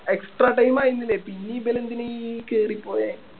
extra time ആയിരുന്നില്ലേ പിന്നെ ഇവര് എന്തിനാ ഈ കേറി പോയേ